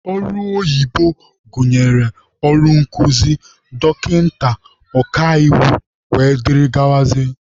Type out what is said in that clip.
Ọrụ oyibo gụnyere ọrụ nkụzi, dọkịta, ọkaiwu wdg.